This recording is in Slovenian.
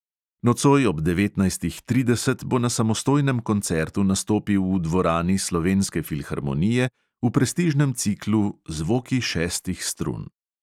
Nocoj ob devetnajstih trideset bo na samostojnem koncertu nastopil v dvorani slovenske filharmonije, v prestižnem ciklu zvoki šestih strun.